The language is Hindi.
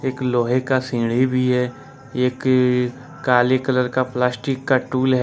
एक लोहे का सीधी भी है एक काली कलर का प्लास्टिक का टूल है ।